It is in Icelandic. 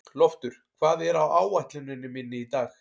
Loftur, hvað er á áætluninni minni í dag?